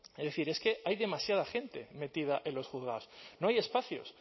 es decir es que hay demasiada gente metida en los juzgados no hay espacios